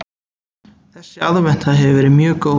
Þessi aðventa hefur verið mjög góð